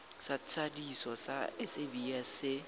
sa thadiso sa sabs se